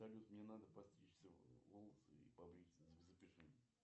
салют мне надо постричься волосы и побриться запиши меня